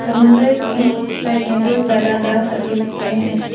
समुंदर के साइड में बहौत सारा ग्रास भी उगे हैं।